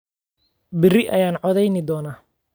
Berri ayaan codeyn doonnaa